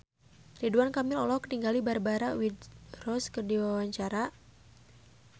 Ridwan Kamil olohok ningali Barbara Windsor keur diwawancara